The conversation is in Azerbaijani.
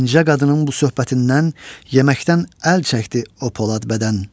O incə qadının bu söhbətindən yeməkdən əl çəkdi o polad bədən.